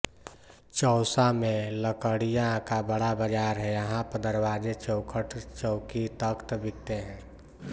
चौसा में लकड़ियां का बड़ा बाजार है यहां पर दरवाजे चौखट चौकीतख्त बिकते हैं